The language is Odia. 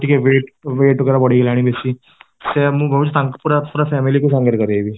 ଟିକେ weight weight ଗୁଡା ବଢ଼ିଗଲାଣି ବେଶୀ ସେଇଆ କହୁଛି ମୁଁ ତାଙ୍କୁ ପୁରା ପୁରା family ସହ କରିବି